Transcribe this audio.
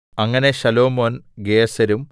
അങ്ങനെ ശലോമോൻ ഗേസെരും